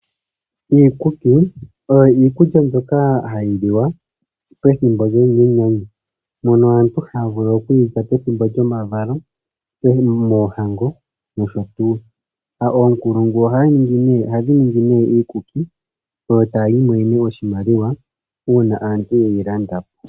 Iikuki oyo iikulya mbyoka hayi liwa pethimbo lyenyanyu, mono aantu haya vulu oku yi lya piituthi ngaashi pomavalo , poohango nosho tu. Oonkulungu ohadhi ningi nduno iikuki e ta dhi imonene oshimaliwa uuna aantu ye yi landa po.